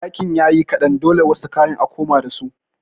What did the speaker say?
Ɗakin yayi kaɗan dole wasu kayan a koma dasu.